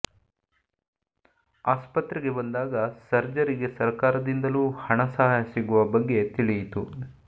ಆಸ್ಪತ್ರೆಗೆ ಬಂದಾಗ ಸರ್ಜರಿಗೆ ಸರ್ಕಾರದಿಂದಲೂ ಹಣ ಸಹಾಯ ಸಿಗುವ ಬಗ್ಗೆ ತಿಳಿಯಿತು